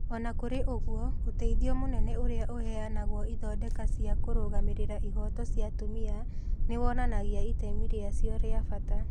O na kũrĩ ũguo, ũteithio mũnene ũrĩa ũheanagwo ithondeka cia kũrũgamĩrĩra ihooto cia atumia nĩ wonanagia itemi rĩacio rĩa bata.